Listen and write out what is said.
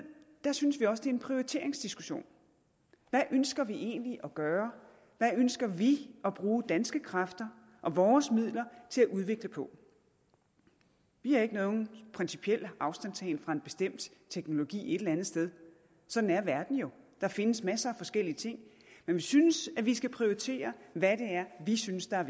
synes vi også en prioriteringsdiskussion hvad ønsker vi egentlig at gøre hvad ønsker vi at bruge danske kræfter og vores midler til at udvikle på vi har ikke nogen principiel afstandtagen fra en bestemt teknologi et eller andet sted sådan er verden jo der findes masser forskellige ting men vi synes at vi skal prioritere hvad det er vi synes er